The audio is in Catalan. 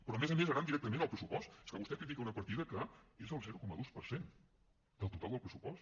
però a més a més anant directament al pressupost és que vostè critica una partida que és el zero coma dos per cent del total del pressupost